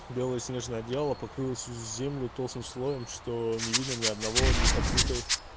белое снежное одеяло покрыло всю землю толстым слоем что не видно ни одного непокрытой